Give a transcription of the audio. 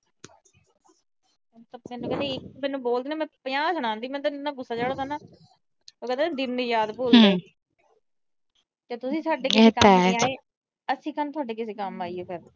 ਮੈਨੂੰ ਬੋਲਦੀ ਮੈਂ ਪੰਜਾਹ ਸੁਣਾਉਂਦੀ, ਮੈਨੂੰ ਇੰਨਾ ਗੁੱਸਾ ਚੜਦਾ ਨਾ। ਉਹ ਕਹਿੰਦੇ ਆ ਨਾ ਦਿਨ ਨੀ ਯਾਦ ਭੁੱਲਦੇ। ਜਦੋਂ ਤੁਸੀਂ ਸਾਡੇ ਕਿਸੇ ਕੰਮ ਨੀ ਆਏ ਅਸੀਂ ਕਿਉਂ ਆਈਏ ਫਿਰ।